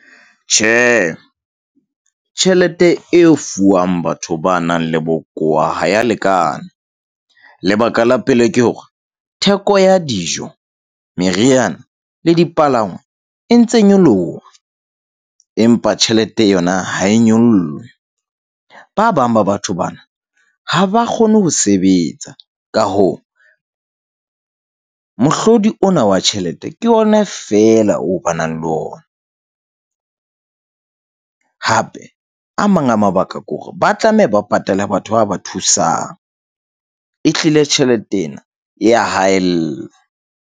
Tjhe, tjhelete e fuwang batho ba nang le bokowa ha ya lekana. Lebaka la pele ke hore theko ya dijo, meriana le dipalangwa e ntse nyoloha, empa tjhelete yona ha e nyollwe. Ba bang ba batho bana ha ba kgone ho sebetsa. Ka hoo, mohlodi ona wa tjhelete ke ona feela oo ba nang le ona. Hape a mang a mabaka kore ba tlameha ba patale batho ba ba thusang e hlile tjhelete ena ya haella.